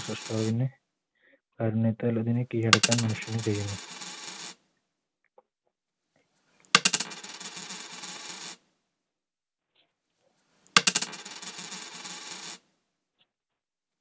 കീഴടക്കാൻ മനുഷ്യന് കഴിയുന്നു